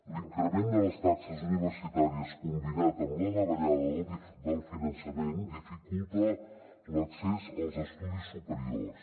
l’increment de les taxes universitàries combinat amb la davallada del finançament dificulta l’accés als estudis superiors